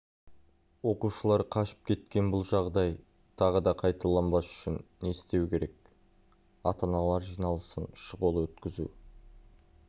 оқушылар қашып кеткен бұл жағдай тағы да қайталанбас үшін не істеу керек ата-аналар жиналысын шұғыл өткізу